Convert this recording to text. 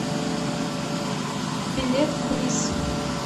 билет блисс